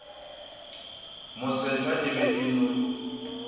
mosehla e be e no